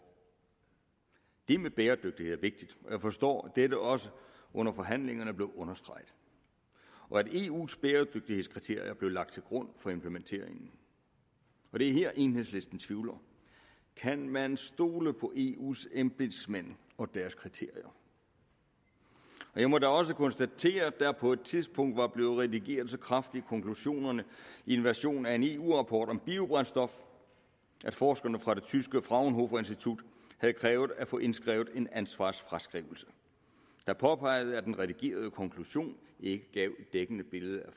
det med bæredygtighed er vigtigt og jeg forstår at dette også under forhandlingerne blev understreget og at eus bæredygtighedskriterier blev lagt til grund for implementeringen og det er her enhedslisten tvivler kan man stole på eus embedsmænd og deres kriterier og jeg må da også konstatere at der på et tidspunkt var blevet redigeret så kraftigt i konklusionerne i en version af en eu rapport om biobrændstof at forskerne fra det tyske fraunhofer institut havde krævet at få indskrevet en ansvarsfraskrivelse der påpegede at den redigerede konklusion ikke gav et dækkende billede af